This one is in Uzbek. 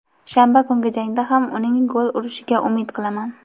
Shanba kungi jangda ham uning gol urishiga umid qilaman;.